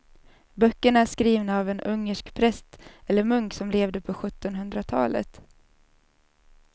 Böckerna är skrivna av en ungersk präst eller munk som levde på sjuttonhundratalet.